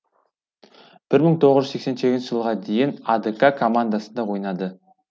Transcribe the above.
мың тоғыз жүз сексен сегізінші жылға дейін адк командасында ойнады